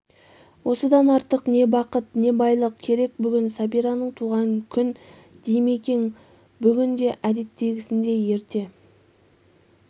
осыдан артық не бақыт не байлық керек бүгін сәбираның туған күн димекең бүгін де әдеттегісіндей ерте